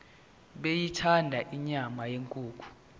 beyithanda inyama yenkukhu